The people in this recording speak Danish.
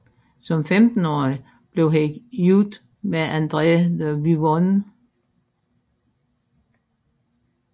Som 15årig blev han gift med Andrée de Vivonne